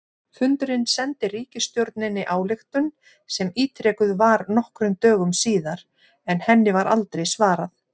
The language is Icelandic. Fundurinn sendi ríkisstjórninni ályktun sem ítrekuð var nokkrum dögum síðar, en henni var aldrei svarað.